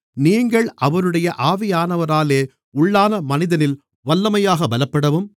நீங்கள் அவருடைய ஆவியானவராலே உள்ளானமனிதனில் வல்லமையாகப் பலப்படவும்